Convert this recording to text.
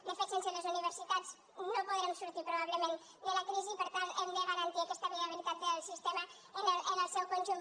de fet sense les universitats no podrem sortir probablement de la crisi per tant hem de garantir aquesta viabilitat del sistema en el seu conjunt